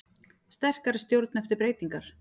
Sterkari stjórn eftir breytingar